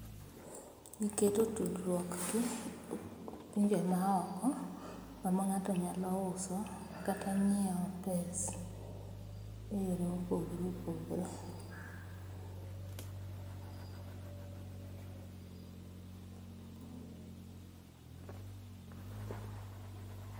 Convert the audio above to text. Giketo tudruok gi pinje maoko kama ng'ato nyalo uso kata ngiew pes eyore ma opogore opogore